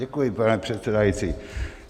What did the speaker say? Děkuji, pane předsedající.